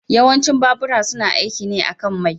Yawancin babura suna aiki ne akan mai.